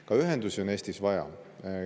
Ka ühendusi on Eestis vaja.